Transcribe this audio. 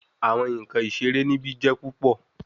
Awọn nkan isere nibi jẹ pupọ